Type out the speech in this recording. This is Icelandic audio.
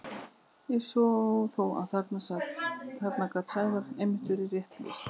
Ég sá þó að þarna gat Sævari einmitt verið rétt lýst.